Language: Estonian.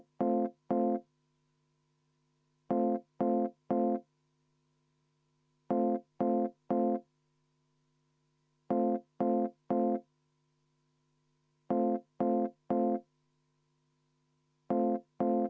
Palun!